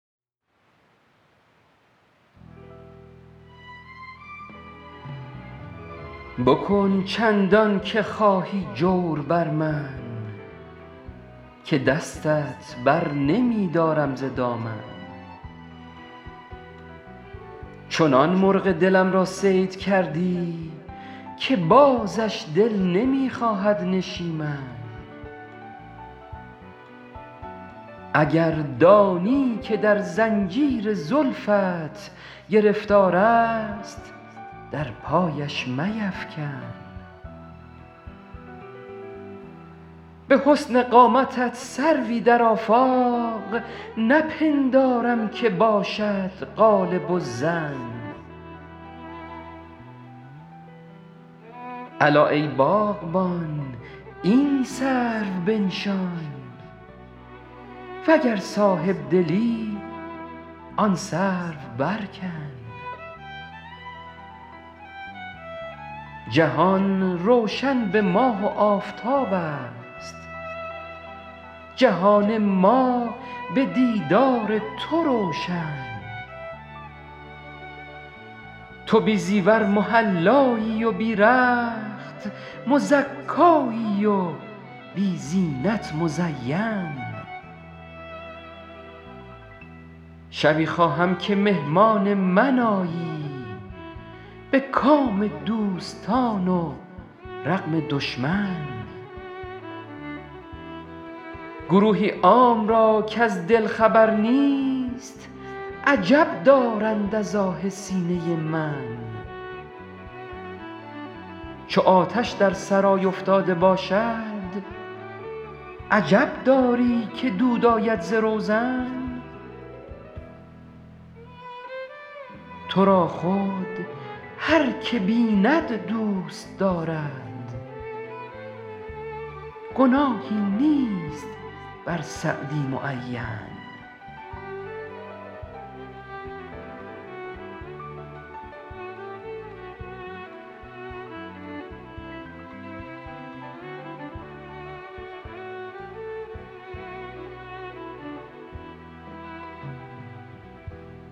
بکن چندان که خواهی جور بر من که دستت بر نمی دارم ز دامن چنان مرغ دلم را صید کردی که بازش دل نمی خواهد نشیمن اگر دانی که در زنجیر زلفت گرفتار است در پایش میفکن به حسن قامتت سروی در آفاق نپندارم که باشد غالب الظن الا ای باغبان این سرو بنشان و گر صاحب دلی آن سرو برکن جهان روشن به ماه و آفتاب است جهان ما به دیدار تو روشن تو بی زیور محلایی و بی رخت مزکایی و بی زینت مزین شبی خواهم که مهمان من آیی به کام دوستان و رغم دشمن گروهی عام را کز دل خبر نیست عجب دارند از آه سینه من چو آتش در سرای افتاده باشد عجب داری که دود آید ز روزن تو را خود هر که بیند دوست دارد گناهی نیست بر سعدی معین